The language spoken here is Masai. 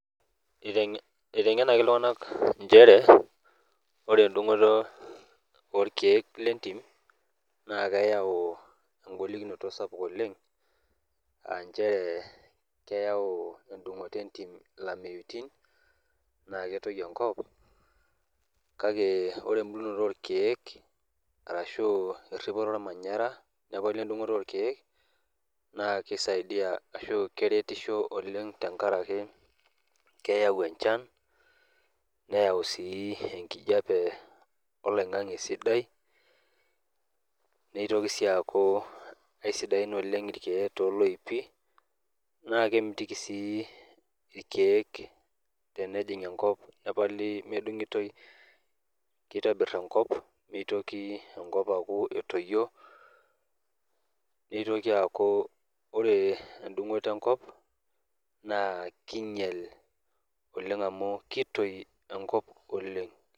Eiteng'enaki iltung'anak inchere ore endung'oto orkiek lentim naa keyau engolikinoto sapuk oleng aa inchere keeyau ilameitin naa ketoyu enkop kake ore endung'oto orkiek weripoto ormanyara na keisidai ashuu keretisho oleng tenkaraki keyau enchan neeyau enkijiape oloing'ange sidai neitoki sii ake eisdain irkiek tolooipi naa kemitiki sii irkiek tenejing enkop teitabir enkop aaku etoyieo nitoki aaku ore endung'oto enkop naa keinyial amu keitoi enkop oleng.